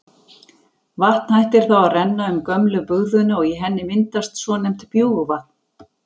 Vatn hættir þá að renna um gömlu bugðuna og í henni myndast svonefnt bjúgvatn.